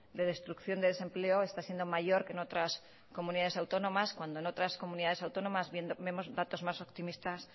de destrucción de desempleo está siendo mayor que en otras comunidades autónomas cuando en otras comunidades autónomas vemos datos más optimistas